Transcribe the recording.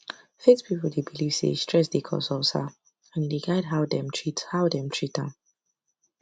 faith people dey believe say stress dey cause ulcer and e dey guide how dem treat how dem treat am